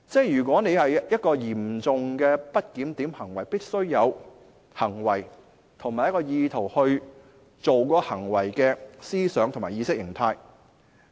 如果是嚴重的不檢點行為，必須有行為和意圖，即作出該行為的思想和意識形態。